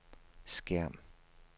skærm